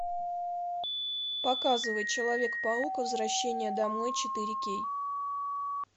показывай человек паук возвращение домой четыре кей